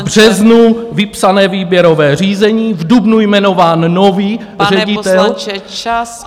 V březnu vypsané výběrové řízení, v dubnu jmenován nový ředitel.